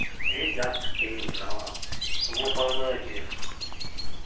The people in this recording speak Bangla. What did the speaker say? এই just খেয়ে উঠলাম । তোমার খাওয়া দাওয়া হয়েছে?